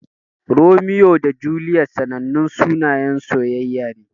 Romeo da Juliet sanannun sunayen soyayya ne.